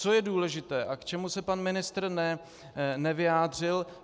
Co je důležité a k čemu se pan ministr nevyjádřil.